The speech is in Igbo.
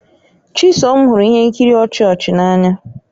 Chisom hụrụ ihe nkiri ọchị ọchị n'anya.